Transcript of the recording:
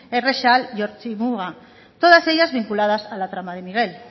errexal y ortzi muga todas ellas vinculadas a la trama de miguel